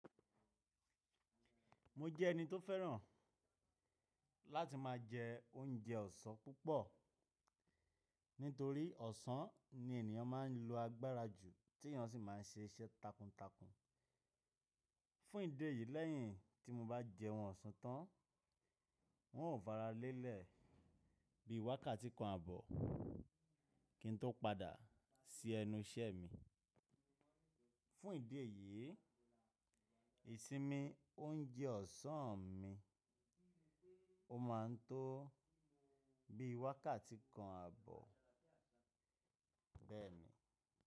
Mo jẹ́ ẹni tó fẹ́ràn láti máa jẹ oúnjẹ ọ̀sán púpọ̀, nítorí ọ̀sán ni ènìyàn má ń lo agbára jù tí ìyàn sì má ń ṣe iṣẹ́ takuntakun. Fún ìdí èyí, lẹ́yìn tí mo bá jẹ́un ọ̀sán tán, wùn ò fara lélẹ̀ bí wákàtí kan àbọ̀ kí n tó padà sí ẹnu iṣẹ́ mi. Fún ìdí èyí, ìsinmi oúnjẹ ọ̀sán mi, ó ma ń tó bí wákàtí kan àbọ̀ bẹ́ẹ̀ ni.